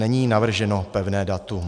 Není navrženo pevné datum.